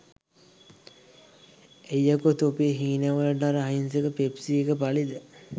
ඇයි යකෝ තොපේ හීන වලට අර අහිංසක පෙප්සි එක පලිද?